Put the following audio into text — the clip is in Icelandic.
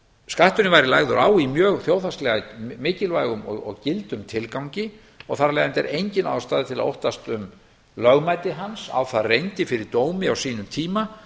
skatturinn væri lagður á í mjög þjóðhagslega og mikilvægum og gildum tilgangi og þar af leiðandi er engin ástæða til að óttast um lögmæti hans á það reyndi fyrir dómi á sínum tíma